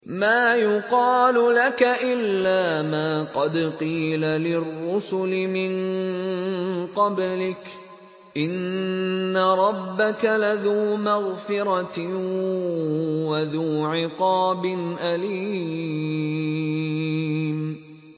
مَّا يُقَالُ لَكَ إِلَّا مَا قَدْ قِيلَ لِلرُّسُلِ مِن قَبْلِكَ ۚ إِنَّ رَبَّكَ لَذُو مَغْفِرَةٍ وَذُو عِقَابٍ أَلِيمٍ